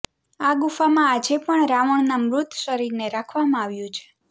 આ ગુફામાં આજે પણ રાવણના મૃત શરીરને રાખવામાં આવ્યું છે